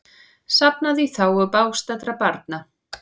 Safnað í þágu bágstaddra barna